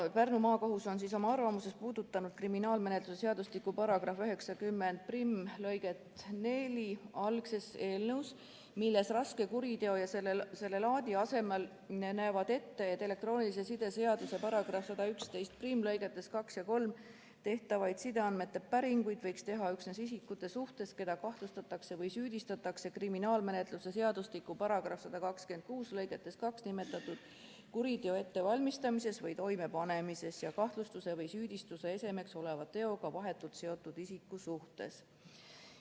Pärnu Maakohus on oma arvamuses puudutanud kriminaalmenetluse seadustiku § 901 lõiget 4 algses eelnõus, milles "raske kuriteo ja selle laadi" asemel nähakse ette, et elektroonilise side seaduse § 1111 lõigetes 2 ja 3 käsitletud sideandmete päringuid võiks teha üksnes isikute suhtes, keda kahtlustatakse või süüdistatakse kriminaalmenetluse seadustiku § 126 lõikes 2 nimetatud kuriteo ettevalmistamises või toimepanemises ja kahtlustuse või süüdistuse esemeks oleva teoga vahetult seotud isiku suhtes.